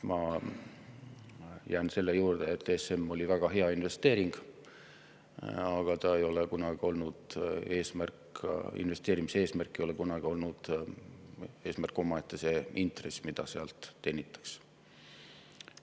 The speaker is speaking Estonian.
Ma jään selle juurde, et ESM oli väga hea investeering, aga investeerimise eesmärk omaette ei ole kunagi olnud see intress, mida sealt teenitakse.